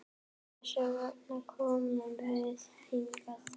Þess vegna komum við hingað.